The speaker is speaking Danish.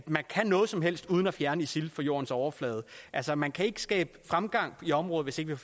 man kan noget som helst uden at fjerne isil fra jordens overflade altså man kan ikke skabe fremgang i området hvis ikke